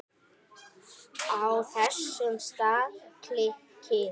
Á þessum stað klykkir